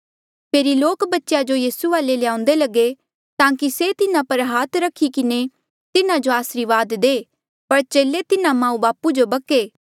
फेरी लोक बच्चेया जो यीसू वाले ल्याउंदे लगे ताकि से तिन्हा पर हाथ रखी किन्हें तिन्हा जो आसरीवाद दे पर चेले तिन्हा माऊबापू जो बक्के